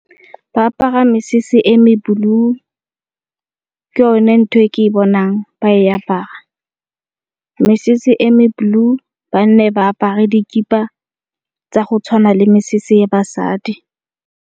Ba apara mesese e me blue, ke yone ntho e ke e bonang ba e apara. Mesese e me blue, banna ba apare dikipa tsa go tshwana le mesese ya basadi.